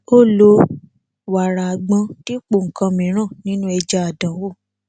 ó lo wàrà àgbọn dipo nkan mìíràn nínú ẹja àdánwò